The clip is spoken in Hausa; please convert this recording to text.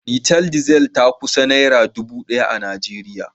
Litar Diesel ta kusan naira dubu daya a Najeriya